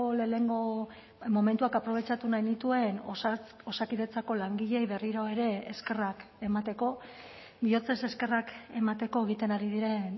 lehenengo momentuak aprobetxatu nahi nituen osakidetzako langileei berriro ere eskerrak emateko bihotzez eskerrak emateko egiten ari diren